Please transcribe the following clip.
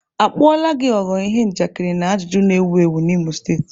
A kpuola gi ghọrọ ihe njakịrị na ajụjụ na-ewu ewu n'Imo steeti.